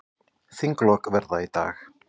Þinglok verða í dag.